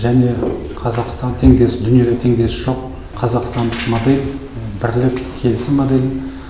және қазақстан теңдесі дүниеде теңдесі жоқ қазақстандық модель бірлік келісім моделін